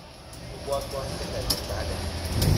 Ibwotwon tiendo cheptake